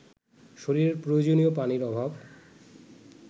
শরীরের প্রয়োজনীয় পানির অভাব